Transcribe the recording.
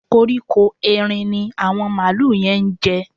Kóríkó Erin ni àwọn màlúù yẹn ń jẹ